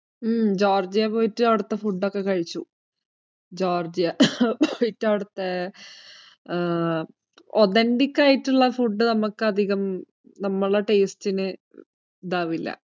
ഉം ജോര്‍ജിയ പോയിട്ട് അവിടത്തെ food ഒക്കെ കഴിച്ചു. ജോര്‍ജിയ authentic ആയിട്ടുള്ള food അധികം നമ്മുടെ taste ന് ഇതാവില്ല.